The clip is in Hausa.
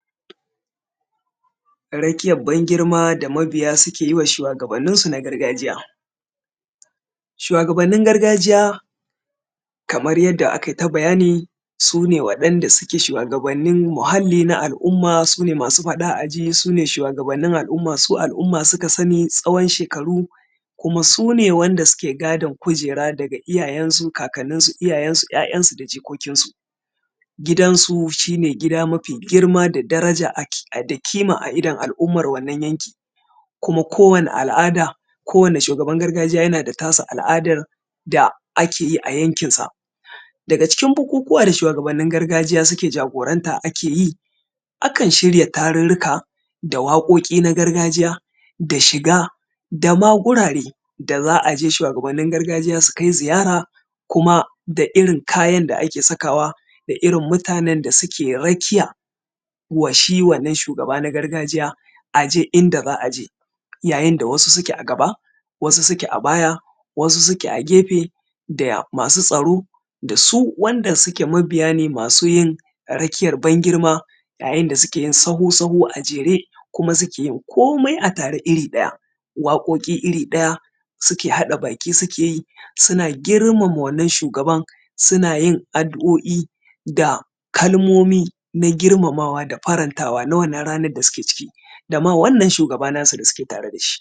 rakiyan ban girma da mabiya da suke wa shuwagabanin su na gargajiya shuwagabanin gargajiya kaman yadda akai ta bayani su ne waɗanda su ke shuwagabanin muhalli na al'umma su ne masu faɗa a ji su ne shuwagabannin al’umma su al'umma suka sani tsawon shekaru kuma su ne wanda su ke gadin kujera daga iyayensu kakaninsu ya'yansu da jikokinsu gidansu shine gida mafi girma da daraja da kima a idon al'umma wannan yanki kuma ko wani al’ada ko wani shugaban gargajiya yana da ta su al’adan da ake yi a yankin sa daga cikin bukukuwa da shuwagabanin gargajiya suke jagoranta ake yi akan shirya tarurruka da waƙoƙi na gargajiya da shiga dama gurare da za a je shuwagabanin gargajiya su kai ziyara kuma da irin kayan da ake sakawa da irin mutanen da suke rakiya wa shi wannan shugaba na gargajiya a je duk inda za a je yayin da wasu suke a gaba wasu su ke a baya wasu su ke a gefe da masu tsaro da su wanda su ke mabiya ne masu yin rakiyan ban girma a yayin da suke sahu sahu a jere kuma suke yin komai a tare iri ɗaya waƙoƙi iri ɗaya su ke haɗa baki su ke yi suna girmama wannan shugaban suna yin addu’o’i da kalmomi na girmamawa da farantawa na wannan ranan da su ke ciki da ma wannan shugaba na su da su ke tare da shi